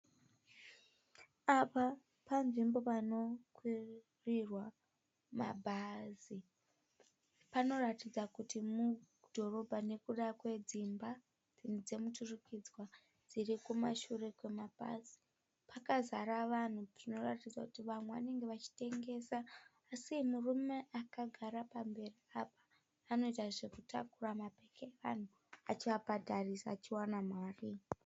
Apa panzvimbo panokwirirwa mabhazi. Panoratidza kuti mudhorobha nekuda kwedzimba dzomuturikidzwa dzirikumashure kwemabhazi. Kwakazara vanhu zvinoratidza kuti vanenge vachitengesa. Murume akagara pamberi apo anoita zvekutakura mabhegi evanhu achivabhadharisa achiwana mari.